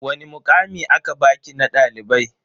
Wani mukami aka baki na dalibai?